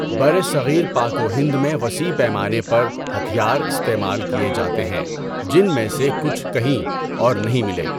برصغیر پاک و ہند میں وسیع پیمانے پر ہتھیار استعمال کیے جاتے ہیں، جن میں سے کچھ کہیں اور نہیں ملے۔